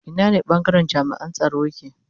Ina ne bangaren jami'an tsaro yake